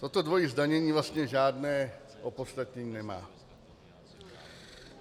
Toto dvojí zdanění vlastně žádné opodstatnění nemá.